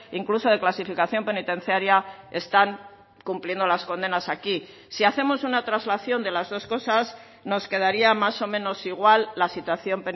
incluso de clasificación penitenciaria están cumpliendo las condenas aquí si hacemos una traslación de las dos cosas nos quedaría más o menos igual la situación